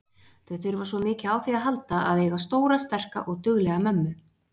Þau þurfa svo mikið á því að halda að eiga stóra, sterka og duglega mömmu.